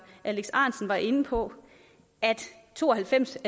alex ahrendtsen var inde på at to og halvfems